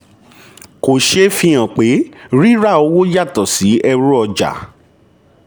kò ṣeé fi hàn pé rírà owó yàtọ̀ sí ẹrú-ọjà.